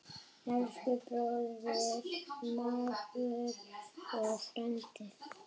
Elsku bróðir, mágur og frændi.